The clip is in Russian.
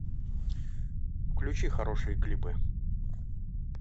включи хорошие клипы